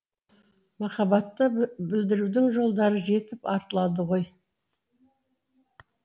махаббатты білдірудің жолдары жетіп артылады ғой